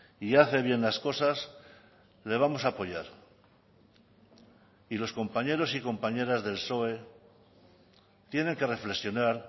y hace bien las cosas le vamos a apoyar y los compañeros y compañeras del psoe tienen que reflexionar